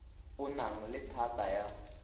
o nang le thata ya